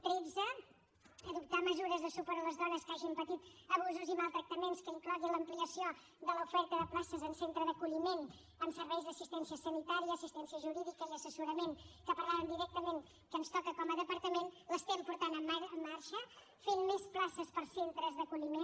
tretze adoptar mesures de suport a les dones que hagin patit abusos i maltractaments que incloguin l’ampliació de l’oferta de places en centre d’acolliment amb serveis d’assistència sanitària assistència jurídica i assessorament que parlàvem que directament ens toca com a departament l’estem portant en marxa fent més places per a centres d’acolliment